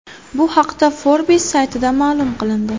Bu haqda Forbes saytida ma’lum qilindi .